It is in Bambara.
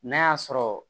N'a y'a sɔrɔ